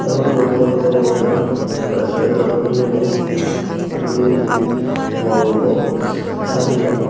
ee potobo degongotte mui ekkan resturentaw dokken gurinei bidirendi bor gurinei sajiyon.